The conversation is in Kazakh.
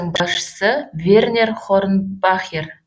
басшысы вернер хорнбахер